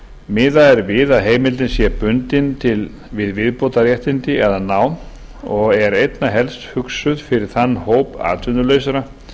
miðað er við að heimildin sé bundin við viðbótarréttindi eða nám og er einna helst hugsuð fyrir þann hóp atvinnulausra